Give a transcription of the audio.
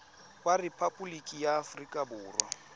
wa rephaboliki ya aforika borwa